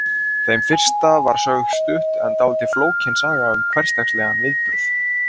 Þeim fyrsta var sögð stutt en dálítið flókin saga um hversdagslegan viðburð.